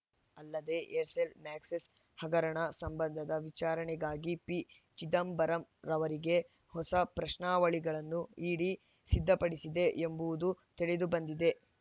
ಅಲ್ಲದೆ ಏರ್‌ಸೆಲ್‌ ಮ್ಯಾಕ್ಸಿಸ್‌ ಹಗರಣ ಸಂಬಂಧದ ವಿಚಾರಣೆಗಾಗಿ ಪಿಚಿದಂಬರಂ ಅವರಿಗೆ ಹೊಸ ಪ್ರಶ್ನಾವಳಿಗಳನ್ನು ಇಡಿ ಸಿದ್ಧಪಡಿಸಿದೆ ಎಂಬುದು ತಿಳಿದುಬಂದಿದೆ